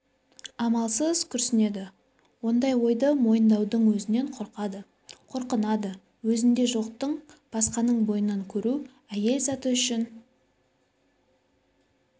амалсыз күрсінеді ондай ойды мойындаудың өзінен қорқады қорынады өзінде жоқты басқаның бойынан көру әйел заты үшңн